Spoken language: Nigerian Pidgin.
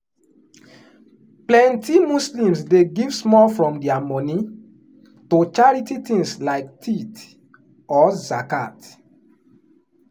plenty muslims dey give small from their money to charity things like tithe or zakat.